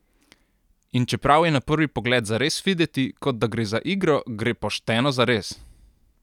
In čeprav je na prvi pogled zares videti, kot da gre za igro, gre pošteno zares!